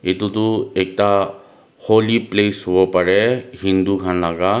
etu tu ekta holy place hobo parae hindu khan laka.